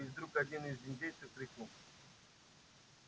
и вдруг один из индейцев крикнул